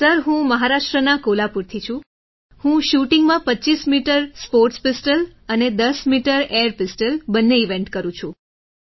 sir હું મહારાષ્ટ્રના કોલ્હાપુરથી છું હું shootingમાં 25m સ્પોર્ટ્સ પિસ્તોલ અને 10m એઆઈઆર પિસ્તોલ બંને ઇવેન્ટ કરું છું